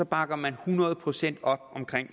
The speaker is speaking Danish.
bakker man hundrede procent op om